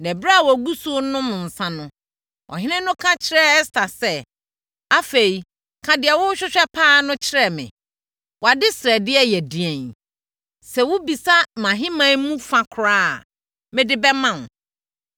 Na ɛberɛ a wɔgu so renom nsã no, ɔhene no ka kyerɛɛ Ɛster sɛ, “Afei, ka deɛ wohwehwɛ pa ara no kyerɛ me. Wʼadesrɛdeɛ yɛ ɛdeɛn? Sɛ wobisa mʼahemman mu fa koraa a, mede bɛma wo.”